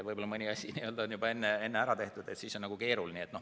Võib-olla mõni asi on juba enne ära tehtud, siis on keeruline.